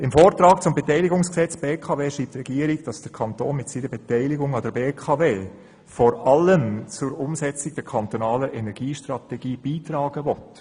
Im Vortrag zum Beteiligungsgesetz betreffend die BKW schreibt die Regierung, dass der Kanton mit dieser Beteiligung vor allem zur Umsetzung der kantonalen Energiestrategie beitragen will.